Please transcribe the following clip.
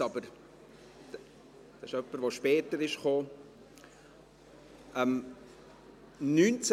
Sie betrifft jemanden, der später gekommen ist.